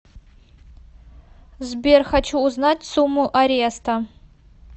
сбер хочу узнать сумму ареста